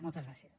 moltes gràcies